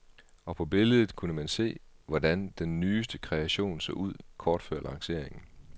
Og på billedet kunne man se, hvordan den nyeste kreation så ud kort før lanceringen.